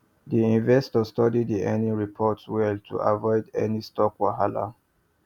the investor study the earnings report well to avoid any stock wahala